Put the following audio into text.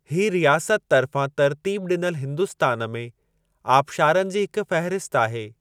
ही रियासत तर्फ़ां तरतीब ॾिनल हिन्दुस्तान में आबशारनि जी हिक फ़हिरसत आहे।